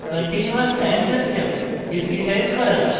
continuous time system discretise করা